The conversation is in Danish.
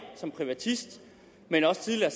som privatist men også tidligere